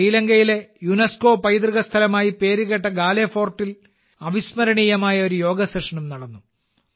ശ്രീലങ്കയിലെ യുനെസ്കോ പൈതൃക സ്ഥലമായി പേരുകേട്ട ഗാലെ ഫോർട്ടിൽ അവിസ്മരണീയമായ ഒരു യോഗ സെഷനും നടന്നു